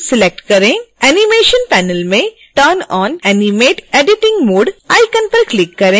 animation panel में turn on animate editing mode icon पर click करें